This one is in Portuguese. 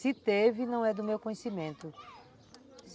Se teve, não é do meu conhecimento.